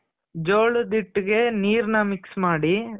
ಜೋಳದ ಹಿಟ್ಟಿಗೆ ನೀರ್ನ mix ಮಾಡಿ